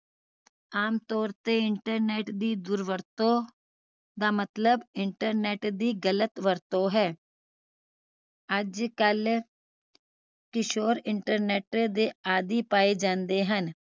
ਆਮਤੌਰ ਤੇ internet ਦੀ ਦੁਰਵਰਤੋਂ ਦਾ ਮਤਲਬ internet ਦੀ ਗ਼ਲਤ ਵਰਤੋਂ ਹੈ ਅੱਜਕਲ ਕਿਸ਼ੋਰ internet ਦੇ ਆਦਿ ਪਾਏ ਜਾਂਦੇ ਹਨ